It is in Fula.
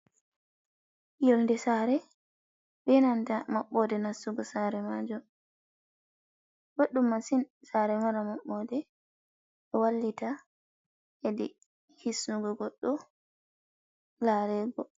Yonde sare be nanta maɓɓode nastugo sare majum. Ɓoɗɗum masin sare mara maɓɓode, ɗo vallita hedi hisnugo goɗɗo larego.